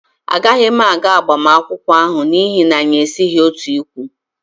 Agaghị m aga agbamakwụkwọ ahụ, n'ihi na anyị esighị otu ikwu